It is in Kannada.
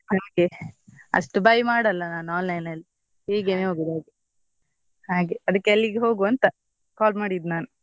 ಹಾಗೆ ಅಷ್ಟು buy ಮಾಡಲ್ಲ ನಾನು online ಅಲ್ಲಿ ಹೀಗೇನೆ ಹೋಗುದು ಹಾಗೆ ಅದ್ಕೆ ಅಲ್ಲಿಗೆ ಹೋಗುವ ಅಂತ call ಮಾಡಿದ್ ನಾನು.